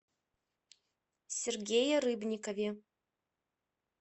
сергее рыбникове